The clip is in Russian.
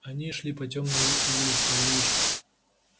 они шли по тёмной извилистой улочке